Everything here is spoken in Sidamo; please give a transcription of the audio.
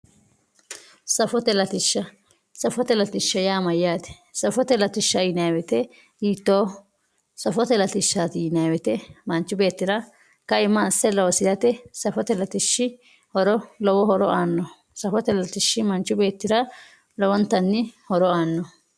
Safote latisha safote latisha ya mayate safote latisha yinayi woyite hitoho safote latisha yinayi woyite manchu betira kaima ase losirate safote latishi